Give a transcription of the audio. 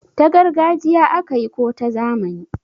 ta gargajiya aka yi ko ta zamani?